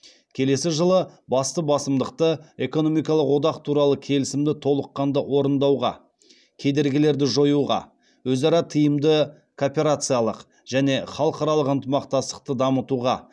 келесі жылы басты басымдықты экономикалық одақ туралы келісімді толыққанды орындауға кедергілерді жоюға өзара тиімді кооперациялық және халықаралық ынтымақтастықты дамытуға